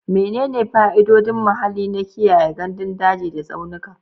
Menene fa'idodin muhalli na kiyaye gandun daji da tsaunuka?